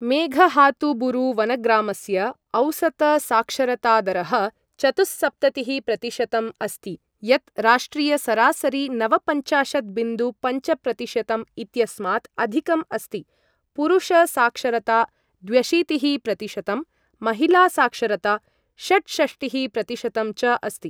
मेघहातुबुरु वनग्रामस्य औसतसाक्षरतादरः चतुःसप्ततिःप्रतिशतम् अस्ति, यत् राष्ट्रियसरासरी नवपञ्चाशत् बिन्दु पञ्चप्रतिशतम् इत्यस्मात् अधिकम् अस्ति, पुरुषसाक्षरता द्व्यशीतिःप्रतिशतम्, महिलासाक्षरता षट्षष्टिःप्रतिशतम् च अस्ति ।